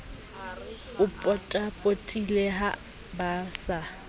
o potapotileng ha ba sa